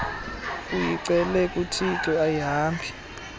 uyicele kuthixo ayihambi